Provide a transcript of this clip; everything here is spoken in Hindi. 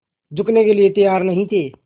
झुकने के लिए तैयार नहीं थे